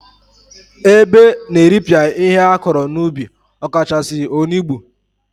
Ebe na-eripịa ihe akọrọ n'ubi ọkachasị, olugbo.